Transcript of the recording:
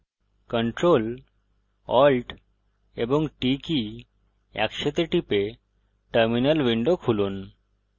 ctrl alt এবং t কী একসাথে টিপে terminal উইন্ডো খুলুন